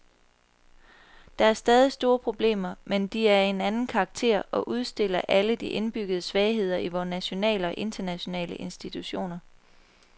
Der er stadig store problemer, men de er af en anden karakter og udstiller alle de indbyggede svagheder i vore nationale og internationale institutioner.